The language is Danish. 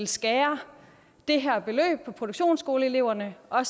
skære det her beløb på produktionsskoleeleverne og